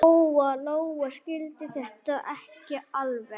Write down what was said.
Lóa-Lóa skildi þetta ekki alveg.